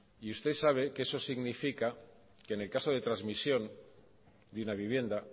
y usted sabe que eso significa que en el caso de transmisión de una vivienda